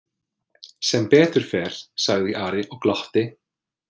Sem betur fer, sagði Ari og glotti.